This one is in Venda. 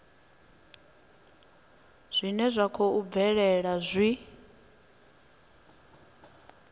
zwine zwa khou bvelela zwi